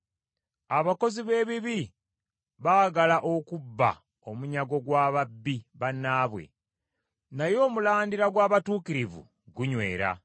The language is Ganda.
Abakozi b’ebibi baagala okubba omunyago gwa babbi bannaabwe, naye omulandira gw’abatuukirivu gunywera.